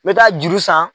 Me taa juru san